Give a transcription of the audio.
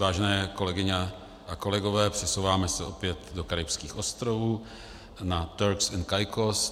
Vážené kolegyně a kolegové, přesouváme se opět do karibských ostrovů na Turks and Caicos.